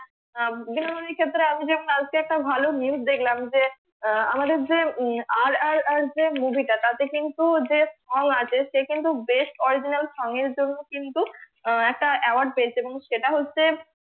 আহ বিনোদনী ক্ষেত্রে আমি যে কালকে একটা ভালো news দেখলাম যে আহ আমাদের যে উম আর আর আর যে movie টা তাতে কিন্তু যে আছে সে কিন্তু best original song এর জন্য কিন্তু আহ একটা award পেয়েছে এবং সেটা হচ্ছে